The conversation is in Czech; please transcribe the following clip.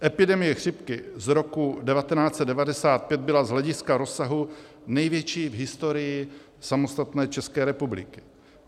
Epidemie chřipky z roku 1995 byla z hlediska rozsahu největší v historii samostatné České republiky.